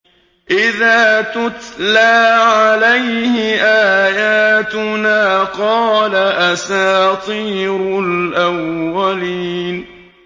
إِذَا تُتْلَىٰ عَلَيْهِ آيَاتُنَا قَالَ أَسَاطِيرُ الْأَوَّلِينَ